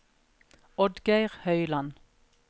Oddgeir Høiland